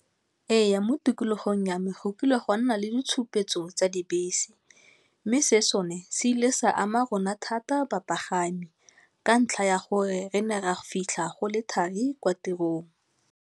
Ee, mo tikologong ya me go kile gwa nna le ditshupetso tsa dibese mme se sone se ile sa ama rona thata bapagami ka ntlha ya gore re ne ra fitlha go le thari kwa tirong.